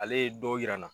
Ale ye dɔw yira n na